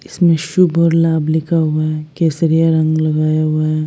इसमें शुभ और लाभ लिखा हुआ है केसरिया रंग लगाया हुआ है।